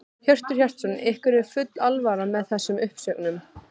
Hjörtur Hjartarson: Ykkur er full alvara með þessum uppsögnum?